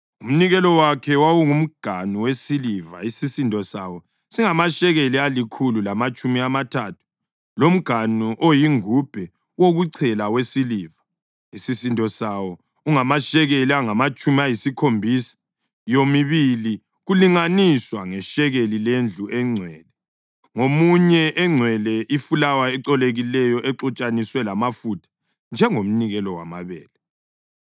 Umnikelo wakhe: wawungumganu wesiliva isisindo sawo singamashekeli alikhulu lamatshumi amathathu, lomganu oyingubhe wokuchela wesiliva, isisindo sawo ungamashekeli angamatshumi ayisikhombisa, yomibili kulinganiswa ngeshekeli lendlu engcwele, ngamunye ugcwele ifulawa ecolekileyo ixutshaniswe lamafutha njengomnikelo wamabele;